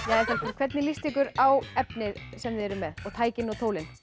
hvernig líst ykkur á efnið sem þið eruð með og tækin og tólin